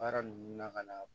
Baara ninnu na ka na